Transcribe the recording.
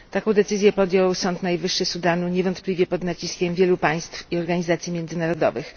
Taką decyzję podjął sąd najwyższy Sudanu, niewątpliwie pod naciskiem wielu państw i organizacji międzynarodowych.